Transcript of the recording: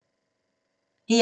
DR2